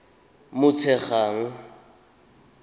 motshegang